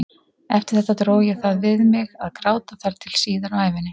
Eftir þetta dró ég það við mig að gráta þar til síðar á ævinni.